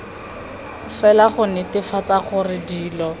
fela go netefatsa gore dilo